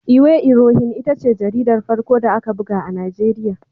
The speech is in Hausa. Iwe Irohin ita ce jaridar farko da aka buga a Najeriya.